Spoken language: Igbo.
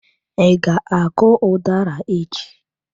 I ga-akụ udara echi?